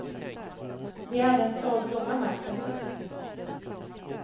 De hade en stor blomma med sig.